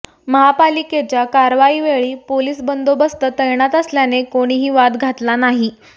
महापालिकेच्या कारवाईवेळी पोलीस बंदोबस्त तैणात असल्याने कोणीही वाद घातला नाही